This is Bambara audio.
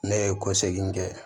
Ne ye kɛ